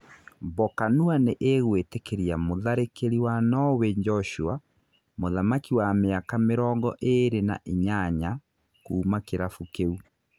Mbokanua nĩ ĩgũĩtĩkĩria mũtharĩkĩri wa Noway Njoshua Muthamaki wa mĩaka mĩrongo ĩrĩ na inyanya, kuuma kĩrabu kĩu.